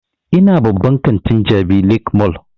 Ina babban kantin jabi lake mall